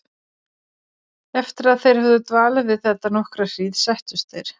Eftir að þeir höfðu dvalið við þetta nokkra hríð settust þeir.